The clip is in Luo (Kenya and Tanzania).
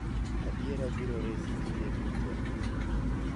Adiera biro resi kinde duto.